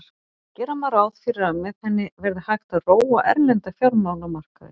Gera má ráð fyrir að með henni verði hægt að róa erlenda fjármálamarkaði.